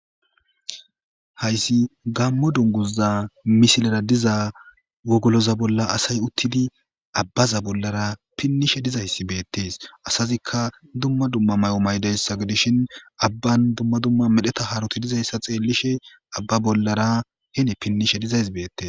Haysi gamo duguza misilera diza wogoloza bolla asi utidi abaza bollara pinishe dizayas betes asazika dumma dumma mayo mayidesa gidishn avan dumma dumma medheta haroti dizaysa xelishe aba bollara hen pinishe dizays betes